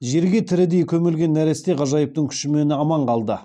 жерге тірідей көмілген нәресте ғажайыптың күшімен аман қалды